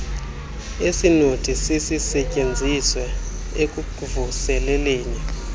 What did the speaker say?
esinothi sisisetyenziswe ekuvuseleleni